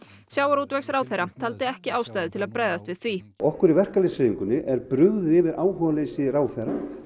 sjávarútvegsráðherra taldi ekki ástæðu til að bregðast við því okkur í verkalýðshreyfingunni er bara brugðið yfir áhugaleysi ráðherra